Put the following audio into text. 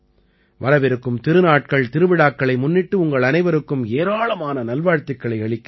வரவிருக்கும் திருநாட்கள்திருவிழாக்களை முன்னிட்டு உங்கள் அனைவருக்கும் ஏராளமான நல்வாழ்த்துக்களை அளிக்கிறேன்